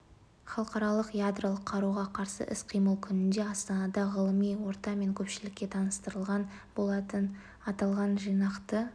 халықаралық ядролық қаруға қарсы іс-қимыл күнінде астанада ғылыми орта мен көпшілікке таныстырылған болатын аталған жинақты